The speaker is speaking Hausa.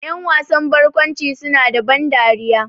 Ƴan wasan barkwanci su na da ban dariya